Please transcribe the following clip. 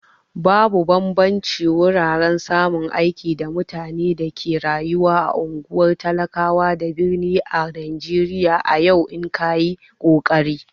Babu bambanci wurin samun aiki da mutane da ke rayuwa a ungwar talakawa da birni ã Najeriya a yau in kayi kokari.